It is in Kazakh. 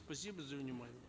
спасибо за внимание